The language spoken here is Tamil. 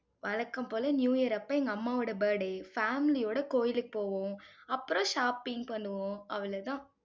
வழக்கம் போல, நியூ இயர் அப்போ, எங்க அம்மாவோட birthday family ஒட, கோயிலுக்கு போவோம். அப்புறம், shopping பண்ணுவோம். அவ்வளவுதான்